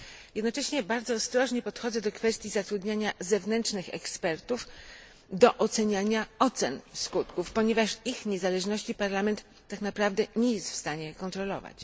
Jednocześnie bardzo ostrożnie podchodzę do kwestii zatrudniania zewnętrznych ekspertów do ocen skutków, ponieważ ich niezależności Parlament tak naprawdę nie jest w stanie kontrolować.